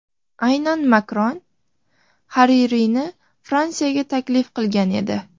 Aynan Makron Haririyni Fransiyaga taklif qilgan edi.